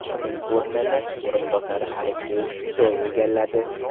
Uning o‘rnini o‘rinbosari Aleksey Soy egalladi.